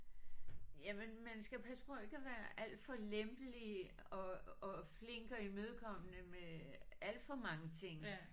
Jamen man skal passe på ikke at være alt for lempelig og og flink og imødekommende med alt for mange ting